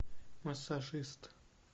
массажист